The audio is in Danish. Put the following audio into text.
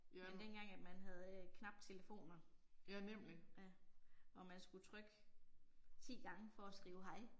Men dengang at man havde øh knaptelefoner. Ja. Og man skulle trykke 10 gange for at skrive hej